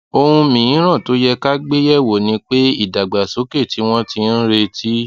ohun mìíràn tó yẹ ká gbé yè wò ni pé ìdàgbàsókè tí wón ti ń retí